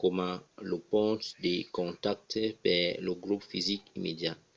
coma lo ponch de contacte per lor grop fisic immediat